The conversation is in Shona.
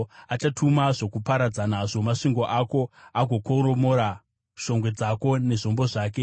Achatuma zvokuparadza nazvo masvingo ako agokoromora shongwe dzako nezvombo zvake.